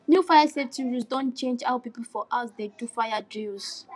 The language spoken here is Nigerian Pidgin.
new fire safety rules don change how people for house dey do fire drills